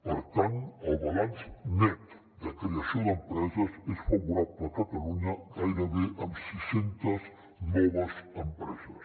per tant el balanç net de creació d’empreses és favorable a catalunya gairebé amb sis centes noves empreses